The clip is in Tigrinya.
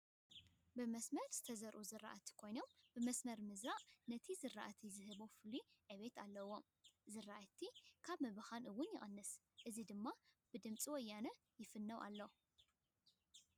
ብመስመር ዝተዘርኡ ዝራእቲ ኮይኖም ብመስመር ምዝራእ ነቲ ዝራእቲ ዝህቦ ፍሉይ ዕቤት ኣለዎ። ዝራእቲ ካብ ምብካን እውን ይቅንስ ።እዚ ድማ ብድምፂ ወያነ ይፍነው ኣሎ።